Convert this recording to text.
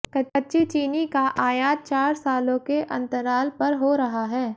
कच्ची चीनी का आयात चार सालों के अंतराल पर हो रहा है